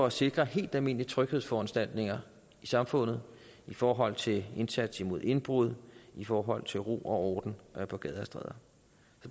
at sikre helt almindelige tryghedsforanstaltninger i samfundet i forhold til indsats mod indbrud i forhold til ro og orden på gader og stræder